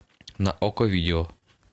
на окко видео